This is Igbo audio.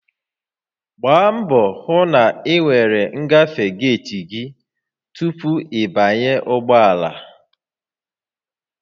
Gbaa mbọ hụ na ị nwere ngafe geeti gị tupu ị banye ụgbọ ala